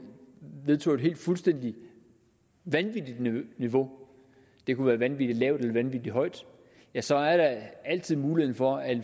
vedtog et fuldstændig vanvittigt niveau det kunne være vanvittig lavt eller vanvittig højt ja så er der altid muligheden for at